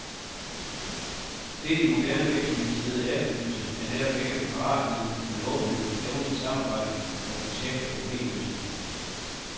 Det, de moderne virksomhedsledere efterlyser, er netop ikke paratviden, men åbenhed, evne til samarbejde og projekt og problemløsning.